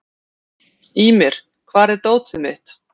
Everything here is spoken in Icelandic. Ýmir, hvar er dótið mitt?